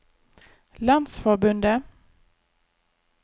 landsforbundet